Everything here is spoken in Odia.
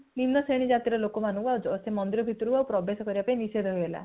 ନିମ୍ନ ଶ୍ରେଣୀର ଜାତି ର ଲୋକ ମନକୁ ସେ ମନ୍ଦିର ଭିତରକୁ ଆଉ ପ୍ରବେଶ କରିବା ପାଇଁ ନିଷେଧ ହେଇଗଲା